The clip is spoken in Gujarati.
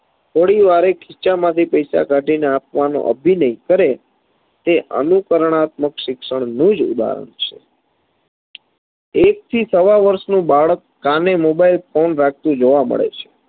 થોડીવારે પોતાના ખિસ્સામાંથી પૈસા કાઢીને આપવાનો અભિનય કરે તે અનુકરણાત્મક શિક્ષણનું જ ઉદાહરણ છે એકથી સવા વર્ષનું બાળક કાને mobile phone રાખતુ જોવા મળે છે